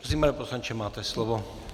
Prosím, pane poslanče, máte slovo.